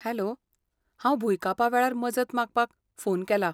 Hello, हांव भुंयकापा वेळार मजत मागपाक फोन केला.